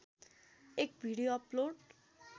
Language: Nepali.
एक भिडियो अपलोड